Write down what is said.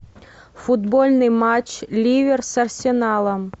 футбольный матч ливер с арсеналом